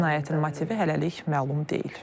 Cinayətin motivi hələlik məlum deyil.